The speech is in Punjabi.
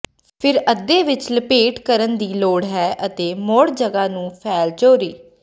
ਫਿਰ ਅੱਧੇ ਵਿੱਚ ਲਪੇਟੇ ਕਰਨ ਦੀ ਲੋੜ ਹੈ ਅਤੇ ਮੋੜ ਜਗ੍ਹਾ ਨੂੰ ਫੈਲ ਚੋਰੀ